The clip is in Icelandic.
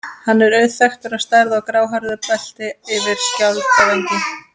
Hann er auðþekktur á stærð og gráhærðu belti yfir skjaldvængina.